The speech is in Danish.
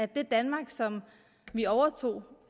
det danmark som vi overtog